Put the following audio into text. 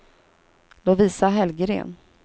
Lovisa Hellgren